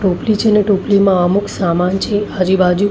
ટોપલી છે ને ટોપલીમાં અમુક સામાન છે. આજુ બાજુ--